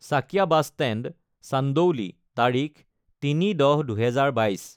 Chakia bus stand, Chandauli, তাৰিখ ০৩ ১০ ২০২২